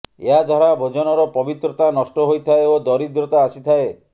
ଏହା ଦ୍ବାରା ଭୋଜନର ପବିତ୍ରତା ନଷ୍ଟ ହୋଇଥାଏ ଓ ଦରିଦ୍ରତା ଆସିଥାଏ